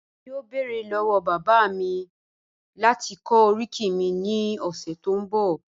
ẹ̀mí yọ̀ọ́ bẹ́ẹ̀rẹ̀ lọ́wọ́ bàbá mi láti kọ̀ oríkì mi ni ọṣẹ tó n bọ̀.